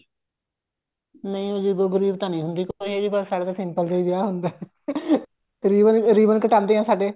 ਨਹੀਂ ਜੀ ਅਜੀਬੋ ਗਰੀਬ ਤਾਂ ਨੀ ਹੁੰਦੀ ਸਾਡੇ ਤਾਂ simple ਜਿਹਾ ਵਿਆਹ ਹੁੰਦਾ ਰੀਬਨ ਰੀਬਨ ਕਟਾਉਂਦੇ ਆਂ ਸਾਡੇ